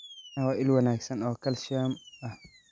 Caanaha waa il wanaagsan oo kalsiyum ah.